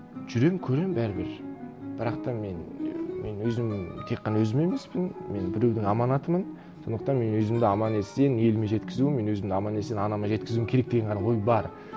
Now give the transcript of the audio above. жүремін көремін бәрібір бірақ та мен мен өзім тек қана өзім емеспін мен біреудің аманатымын сондықтан мен өзімді аман есен еліме жеткізу мен өзімді аман есен анама жеткізуім керек деген ғана ой бар